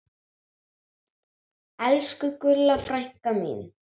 Elsku Gulla frænka mín.